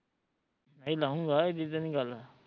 ਨਹੀਂ ਲਉਗਾ ਏਡੀ ਤੇ ਨੀ ਗੱਲ